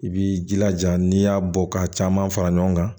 I b'i jilaja n'i y'a bɔ ka caman fara ɲɔgɔn kan